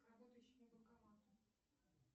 работающему банкомату